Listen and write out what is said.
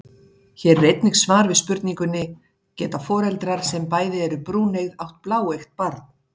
Hér er einnig svar við spurningunni: Geta foreldrar sem bæði eru brúneygð átt bláeygt barn?